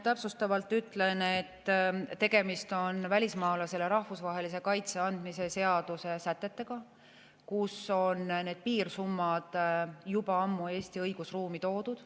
Täpsustavalt ütlen, et tegemist on välismaalasele rahvusvahelise kaitse andmise seaduse sätetega, kus on need piirsummad juba ammu Eesti õigusruumi toodud.